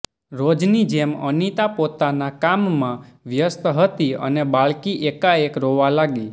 રોજની જેમ અનીતા પોતાના કામમાં વ્યસ્ત હતી અને બાળકી એકાએક રોવા લાગી